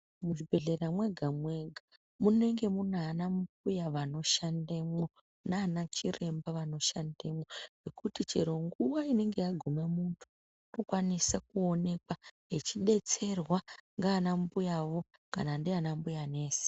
Muzvibhedhlera mwega mwega munenge munana mbuya vanoshandemwo nana chiremba vanoshandemwo zvekuti chero nguwa inenge yagume muntu unokwanisa kuonekwa echidetserwa nana mbuyawo kana ndiana mbuya nesi.